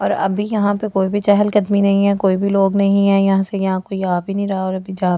और अभी यहां पे कोई भी चहल कदमी नहीं है कोई भी लोग नहीं है यहां से यहां कोई आ भी नहीं रहा और अभी जा भी ।